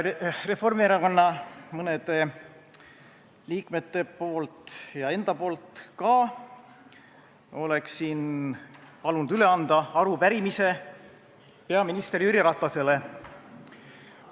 Reformierakonna mõne liikme ja ka enda nimel annan üle arupärimise peaminister Jüri Ratasele.